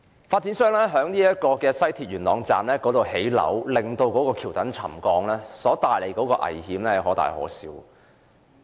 發展商在西鐵元朗站興建樓宇導致橋躉沉降，所帶來的危險可大可小。